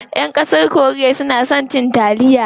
Ƴan ƙasar korea na son cin taliya.